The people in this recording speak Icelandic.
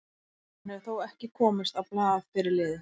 Hann hefur þó ekki komist á blað fyrir liðið.